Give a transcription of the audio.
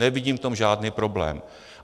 Nevidím v tom žádný problém.